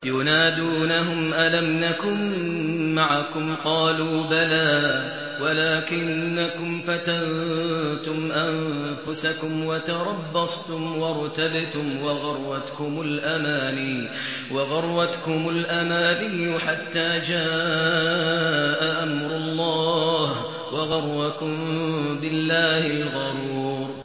يُنَادُونَهُمْ أَلَمْ نَكُن مَّعَكُمْ ۖ قَالُوا بَلَىٰ وَلَٰكِنَّكُمْ فَتَنتُمْ أَنفُسَكُمْ وَتَرَبَّصْتُمْ وَارْتَبْتُمْ وَغَرَّتْكُمُ الْأَمَانِيُّ حَتَّىٰ جَاءَ أَمْرُ اللَّهِ وَغَرَّكُم بِاللَّهِ الْغَرُورُ